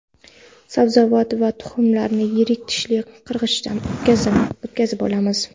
Sabzavot va tuxumlarni yirik tishli qirg‘ichdan o‘tkazib olamiz.